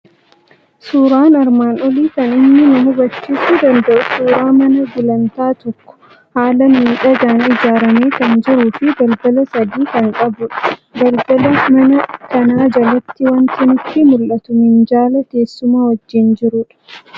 Suuraan armaan olii kan inni nu habachiisuu danda'u suuraa mana gulantaa tokkoo, haala miidhagaan ijaaramee kan jiruu fi balbala sadii kan qabudha. Balbal manaa kana jalatti wanti nutti mul'atu minjaala teessuma wajjin jirudha.